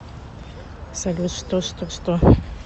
салют что что что